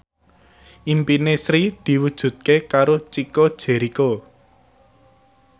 impine Sri diwujudke karo Chico Jericho